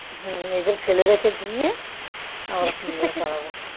হম এদের ফেলে রেখে দিয়ে আবার পালাবো